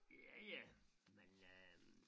Ja ja men øh